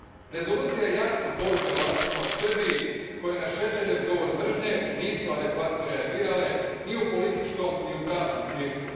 Rezolucija je jasna poruka vlastima u Srbiji koje na Šešeljev govor mržnje nisu adekvatno reagirale ni u političkom ni u pravnom smislu.